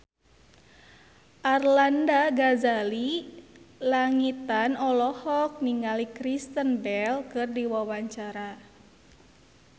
Arlanda Ghazali Langitan olohok ningali Kristen Bell keur diwawancara